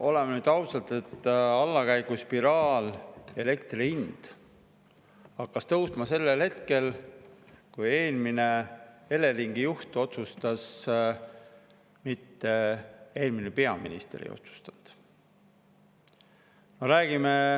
Oleme nüüd ausad, et allakäiguspiraal, elektri hind hakkas tõusma sellel hetkel, kui eelmine Eleringi juht tegi otsuse, mitte eelmine peaminister ei otsustanud.